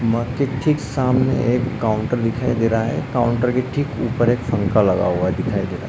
मग के ठीक सामने एक काउंटर दिखाई दे रहा है काउंटर के ठीक ऊपर एक लगा हुआ दिखाई दे रहा है।